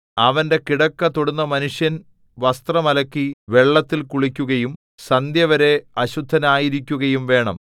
അവന്റെ കിടക്ക തൊടുന്ന മനുഷ്യൻ വസ്ത്രം അലക്കി വെള്ളത്തിൽ കുളിക്കുകയും സന്ധ്യവരെ അശുദ്ധനായിരിക്കുകയും വേണം